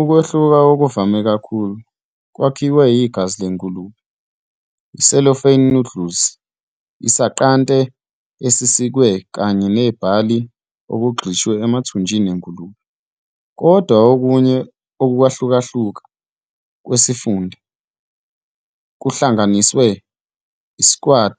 Ukwehluka okuvame kakhulu kwakhiwe igazi lengulube, i- cellophane noodle, isanqante esisikiwe kanye nebhali okugxishwe emathunjini engulube, kodwa okunye ukuhlukahluka kwesifunda kuhlanganisa i- squid